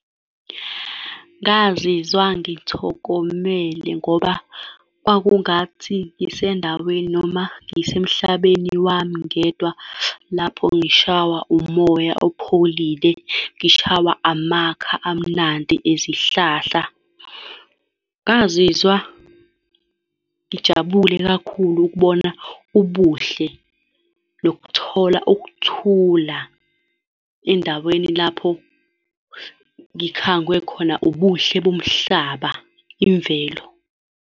Ngazizwa ngithokomelele, ngoba kwakungathi ngisendaweni noma ngisemhlabeni wami ngedwa, lapho ngishawa umoya opholile, ngishawa amakha amnandi ezihlahla. Ngazizwa ngijabule kakhulu ukubona ubuhle nokuthola ukuthula endaweni lapho ngikhangwe khona ubuhle bomhlaba, imvelo.